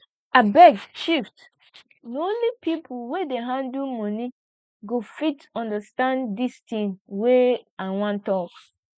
abeg shift na only people wey dey handle money go fit understand dis thing wey i wan talk